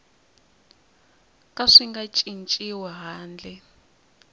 ka swi nga cinciwi handle